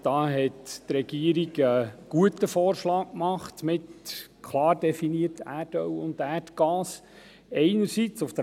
Einerseits hat die Regierung mit der klaren Definition «Erdöl» und «Erdgas» einen guten Vorschlag gemacht.